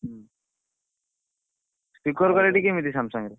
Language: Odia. ହୁଁ camera କେମିତି Samsung ରେ?